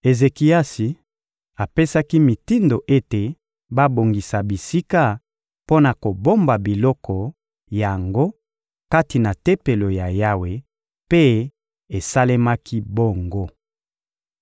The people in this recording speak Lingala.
Ezekiasi apesaki mitindo ete babongisa bisika mpo na kobomba biloko yango kati na Tempelo ya Yawe; mpe esalemaki bongo.